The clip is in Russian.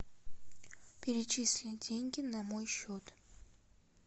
перечисли деньги на мой счет